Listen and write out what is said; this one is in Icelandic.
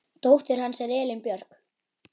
Dóttir hans er Elín Björk.